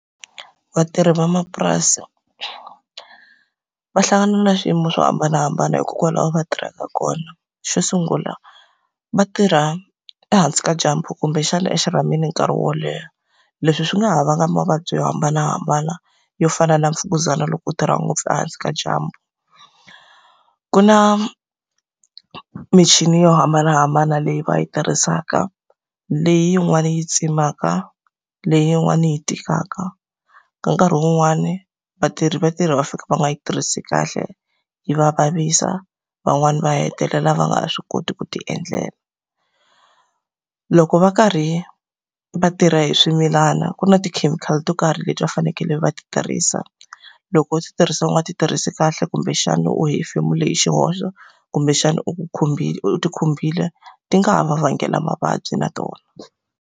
Vatirhi vamapurasi, va hlangana na swiyimo swo hambanahambana hikokwalaho va tirhaka kona. Xo sungula va tirha ehansi ka dyambu kumbexana e xirhamini nkarhi wo leha. Leswi swi nga ha vanga mavabyi yo hambanahambana, yo fana na mfukuzana loko u tirha ngopfu ehansi ka dyambu. Ku na michini yo hambanahambana leyi va yi tirhisaka, leyin'wani yi tsemaka, leyin'wani yi tikaka. Ka nkarhi wun'wani, va tirhi va tirha va fika va nga yi tirhisi kahle, yi va vavisa. Van'wani va hetelela va nga ha swi koti ku ti endlela. Loko va karhi va tirha hi swimilana ku na tikhemikhali to karhi leti va fanekele va ti tirhisa. Loko u tirhisa u nga ti tirhisi kahle kumbexana u hefemule hi xihoxo, kumbexana u ku khumbile u ti khumbile, ti nga ha va vangela mavabyi na tona.